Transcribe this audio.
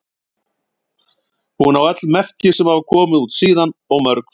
Hún á öll merki sem hafa komið út síðan og mörg fleiri.